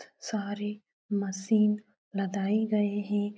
सारी मशीन लदाई गयी हैं।